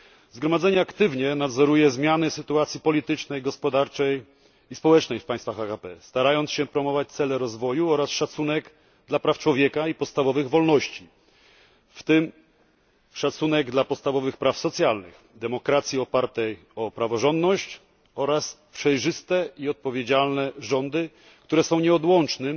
Zgromadzenie aktywnie nadzoruje zmiany sytuacji politycznej, gospodarczej i społecznej w państwach AKP, starając się promować cele rozwoju oraz szacunek dla praw człowieka i podstawowych wolności, w tym szacunek dla podstawowych praw socjalnych, demokracji opartej o praworządność oraz przejrzyste i odpowiedzialne rządy, które są nieodłącznym